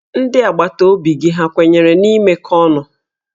Ndị agbataobi gị ha kwenyere n'imekọ ihe ọnụ?